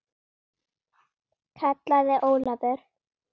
kallaði Ólafur.